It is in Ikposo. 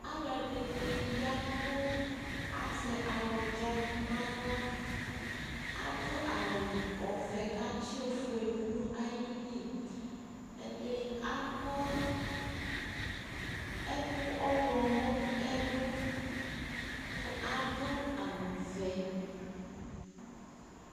Alʋ ɛdini ya k'azɛ awʋdza n'aɣla Adʋ awʋ ɔvɛ k'atsi ofue dʋ nayili Ɛdi akɔ ɛkʋ ɔɣlɔmɔ nʋ ɛlʋ kʋ adʋ awʋ vɛ